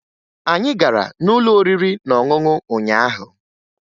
Anyị gara n'ụlọ oriri na ọṅụṅụ ụnyaahụ